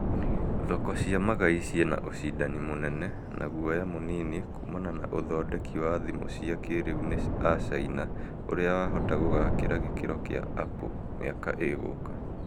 thoko cia magai ciĩna ũcindani mũnene na guoya mũnini kumana na athondeki wa thimũ cia kĩrĩu ni acaina ũria wahota gũgakĩra gĩkĩro kia Apple miaka ĩgũka